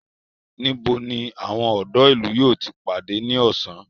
Níbo ni àwọn ọ̀dọ́ ìlú yóò ti pàdé ní ọ̀sán?